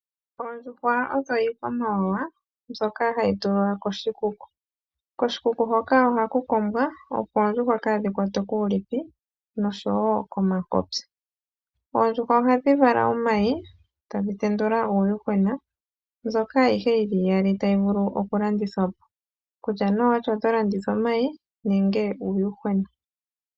Oondjuhwa odho iikwamawawa mbyoka hayi tulwa koshikuku. Koshikuku hoka ohaku kombwa opo oondjuhwa kaadhikwatwe kuulipi noshowo komakopya. Oondjuhwa ohadhi vala omayi tadhi tendula uuyuhwena mbyoka ayihe yili iyali tayi vulu oku landithwapo, kutya ne owati oto landitha omayi nenge uuyuhwena.